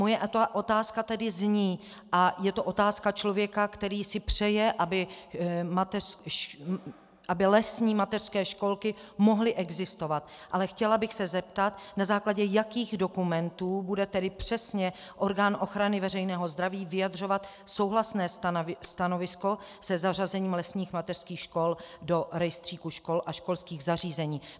Moje otázka tedy zní, a je to otázka člověka, který si přeje, aby lesní mateřské školky mohly existovat, ale chtěla bych se zeptat, na základě jakých dokumentů bude tedy přesně orgán ochrany veřejného zdraví vyjadřovat souhlasné stanovisko se zařazením lesních mateřských škol do rejstříku škol a školských zařízení.